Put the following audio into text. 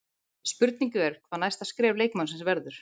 Spurning er hvað næsta skref leikmannsins verður?